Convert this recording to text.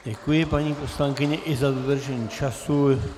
Děkuji paní poslankyni i za dodržení času.